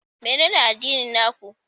Menene addinin na ku?